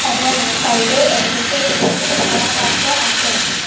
এবং সাইডে এক দুটো ছোট ছোট চারাগাছও আছে।